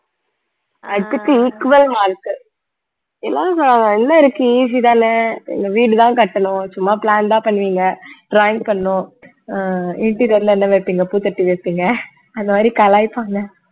அதுக்கு equal mark எல்லாரும் என்ன இருக்கு easy தானே எங்க வீடுதான் கட்டணும் சும்மா plan தான் பண்ணுவீங்க drawing பண்ணணும் அஹ் interior ல என்ன வைப்பீங்க பூ தொட்டி வைப்பீங்க அந்த மாதிரி கலாய்ப்பாங்க